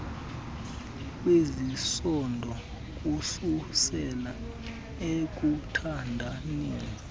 kwezesondo kususela ekuthandaneni